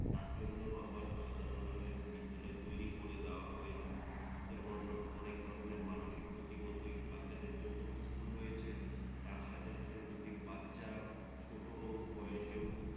তার জন্যও আবার আলাদা ধরণের বিদ্যালয় তৈরি করে দেওয়া হয়েছে যেমন অনেক ধরণের মানসিক প্রতিবন্ধি বাচ্চাদের জন্যও ইস্কুল রয়েছে তার সাথে সাথে যদি বাচ্চা ছোট বয়সেও